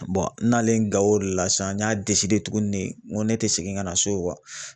n'ale Gawo o de la sisan n y'a tuguni de n ko ne ti segin ka na so